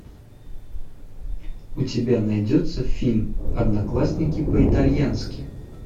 у тебя найдется фильм одноклассники по итальянски